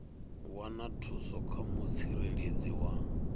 wana thuso kha mutsireledzi wa